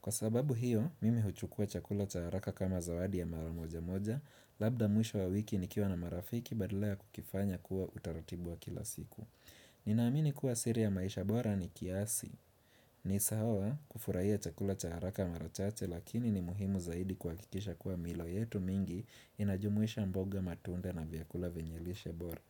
Kwa sababu hiyo, mimi huchukua chakula cha haraka kama zawadi ya mara moja moja, labda mwisho wa wiki nikiwa na marafiki badala kukifanya kuwa utaratibu wa kila siku ni naamini kuwa siri ya maisha bora ni kiasi ni sahawa kufurahia chakula cha haraka mara chate lakini ni muhimu zaidi kwa kikisha kuwa milo yetu mingi inajumuisha mboga matunda na vyakula venyelisha bora.